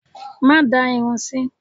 Má da irun sí!